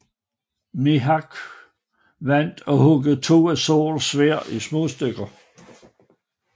Mihawk vandt og huggede to af Zorros sværd i småstykker